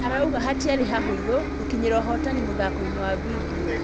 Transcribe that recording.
Arauga hatiarĩ hahũthũ gũkinyĩra ũhotani mũthakoinĩ wa vindio.